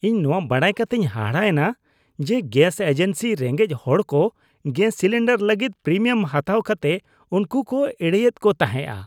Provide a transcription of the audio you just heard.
ᱤᱧ ᱱᱚᱶᱟ ᱵᱟᱰᱟᱭ ᱠᱟᱛᱮᱧ ᱦᱟᱦᱟᱲᱟ ᱮᱱᱟ ᱡᱮ ᱜᱮᱥ ᱮᱡᱮᱱᱥᱤ ᱨᱮᱸᱜᱮᱡᱽ ᱦᱚᱲᱠᱚ ᱜᱮᱥ ᱥᱤᱞᱤᱱᱰᱟᱨ ᱞᱟᱹᱜᱤᱫ ᱯᱨᱤᱢᱤᱭᱟᱢ ᱦᱟᱛᱟᱣ ᱠᱟᱛᱮ ᱩᱱᱠᱩ ᱠᱚ ᱮᱲᱮᱭᱮᱫ ᱠᱚ ᱛᱟᱦᱮᱸᱜᱼᱟ ᱾